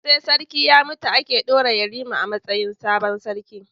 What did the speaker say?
Sai sarki ya mutu ake daura yarima a matsayin sabon sarki